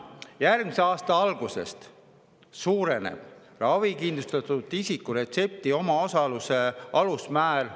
Järgmise aasta algusest suureneb ravikindlustatud isiku retsepti omaosaluse alusmäär.